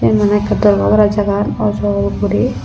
eyan mane ekke dorgore para jagagan oloj gori.